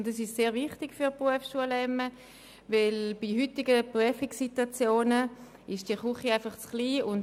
Dies ist sehr wichtig für die Berufsschule bzemme, weil die Küche für heutige Prüfungssituationen schlicht zu klein ist.